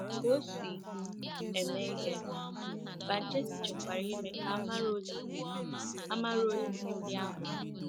Ka o si eme ihe, Banchetti chọkwara ime ka a mara ozizi a mara ozizi ndị ahụ.